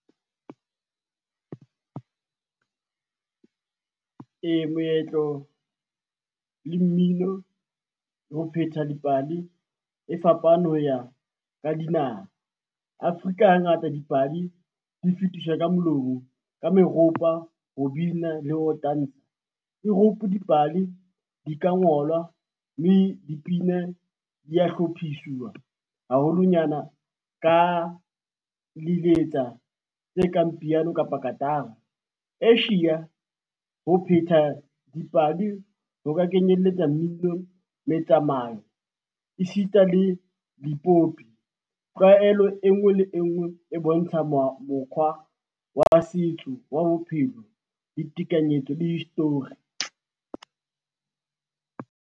Moetlo le mmino, ho phetha dipale e fapane ho ya ka dinaha. Afrika ha ngata dipale di fetiswa ka molomo, ka meropa, ho bina le ho tantsha. Europe dipale di ka ngolwa, mme dipina dia hlophisiwa haholonyana ka liletsa tse re kang piano kapa katara. Asia ho phetha dipale ho ka kenyelletsa mmino, metsamao e sita le dipopi, tlwaelo e ngwe le e ngwe e bontsha mo mokgwa wa setso wa bophelo le tekanyetso le history.